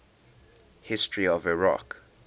history of iraq